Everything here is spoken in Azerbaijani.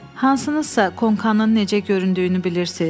Hansınızsa konkanın necə göründüyünü bilirsiz?